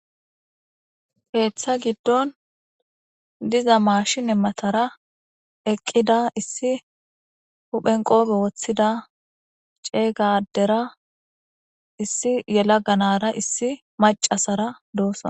Keeththa giddon diza maashin emmatara eqqida issi huphen qoope woththida ceeyg adera issi yelaga nara issi macasara doosona.